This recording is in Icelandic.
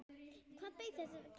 Hvað beið þessara greyja?